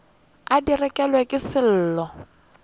a di rekelwa ke sello